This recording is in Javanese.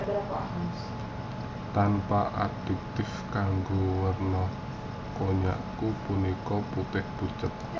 Tanpa aditif kanggé werna konnyaku punika putih pucet